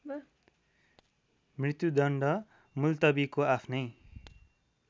मृत्युदण्ड मुल्तबीको आफ्नै